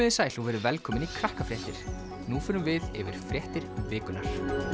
þið sæl og verið velkomin í Krakkafréttir nú förum við yfir fréttir vikunnar